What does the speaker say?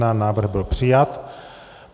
Návrh byl přijat.